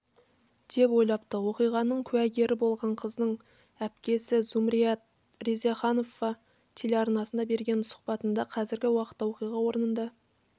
деп ойлапты оқиғаның куәгері болған қыздың әпкесізумрият резаханова телеарнасына берген сұхбатында қазіргі уақытта оқиға орнында